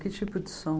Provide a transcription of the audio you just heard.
Que tipo de som?